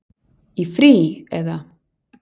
Í frí. eða?